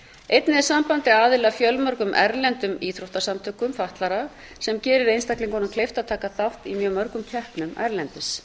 einnig er sambandið aðili að fjölmörgum erlendum íþróttasamtökum fatlaðra sem gerir einstaklingunum kleift að taka þátt í mjög mörgum keppnum erlendis